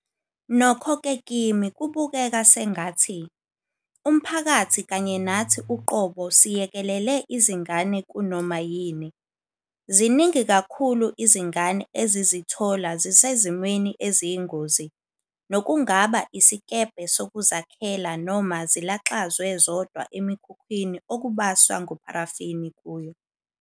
Nokho-ke kimi kubukeka sengathi, umphakathi kanye nathi uqobo siyekelele izingane kunoma yini. Ziningi kakhulu izingane ezizithola zisezimweni eziyingozi, nokungaba isikebhe sokuzakhela noma zilaxazwe zodwa emikhukhwini okubaswa ngopharafini kuyo.